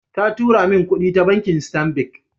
Ta tura min kudi ta bankin Stanbic